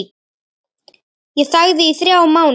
Ég þagði í þrjá mánuði.